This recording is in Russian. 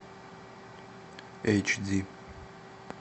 эйч ди